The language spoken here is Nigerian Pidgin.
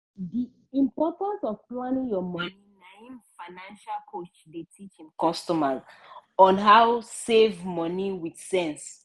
di importance of planning your money na im financial coach dey teach im customer on how save money with sense.